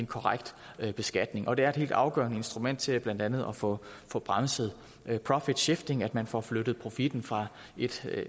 korrekt beskatning det er et helt afgørende instrument til blandt andet at få få bremset profit shifting altså at man får flyttet profitten fra et